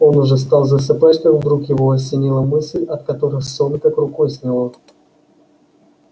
он уже стал засыпать как вдруг его осенила мысль от которой сон как рукой сняло